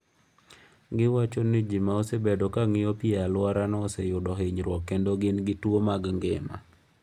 Giwacho ni ji ma osebedo ka ng’iyo pi e alworano oseyudo hinyruok kendo gin gi tuwo mag ngima.